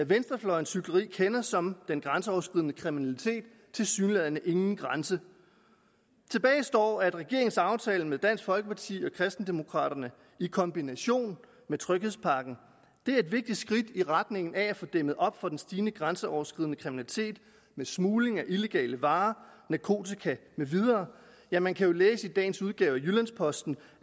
venstrefløjens hykleri kender som den grænseoverskridende kriminalitet tilsyneladende ingen grænser tilbage står at regeringens aftale med dansk folkeparti og kristendemokraterne i kombination med tryghedspakken er et vigtigt skridt i retning af at få dæmmet op for den stigende grænseoverskridende kriminalitet med smugling af illegale varer narkotika med videre ja man kan læse i dagens udgave af jyllands posten